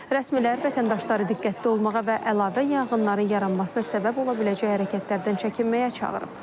Rəsmilər vətəndaşları diqqətli olmağa və əlavə yanğınların yaranmasına səbəb ola biləcəyi hərəkətlərdən çəkinməyə çağırıb.